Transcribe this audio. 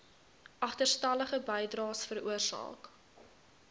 agterstallige bydraes veroorsaak